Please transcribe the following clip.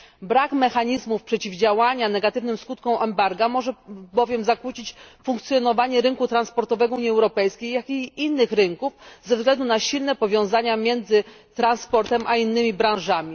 Brak mechanizmów przeciwdziałania negatywnym skutkom embarga może bowiem zakłócić funkcjonowanie rynku transportowego Unii Europejskiej, jak i innych rynków, ze względu na silne powiązania między transportem a innymi branżami.